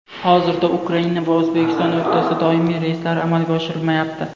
Hozirda Ukraina va O‘zbekiston o‘rtasida doimiy reyslar amalga oshirilmayapti.